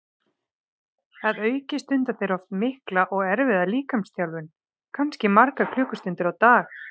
Að auki stunda þeir oft mikla og erfiða líkamsþjálfun, kannski margar klukkustundir á dag.